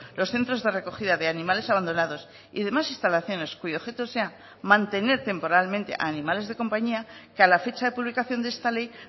los centros de recogida de animales abandonados y demás instalaciones cuyo objeto sea mantener temporalmente animales de compañía que a la fecha de publicación de esta ley